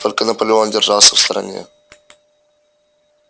только наполеон держался в стороне